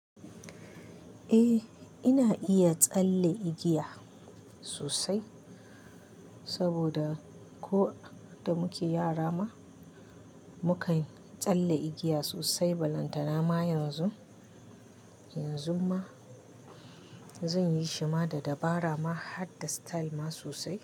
Eh ina iya tsalle igiya sosai, saboda ko da muke yara ma mukai tsalle igiya sosai. Balantana ma yanzu, yanzu ma zan yi shima da dabara ma har da style ma sosai.